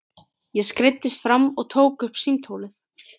Ég skreiddist fram og tók upp símtólið.